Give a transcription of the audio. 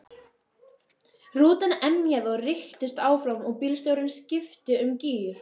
Rútan emjaði og rykktist áfram og bílstjórinn skipti um gír.